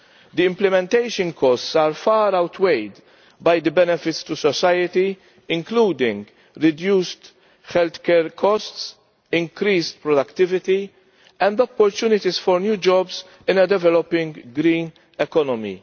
The implementation costs are far outweighed by the benefits to society, including reduced healthcare costs, increased productivity and opportunities for new jobs in a developing green economy.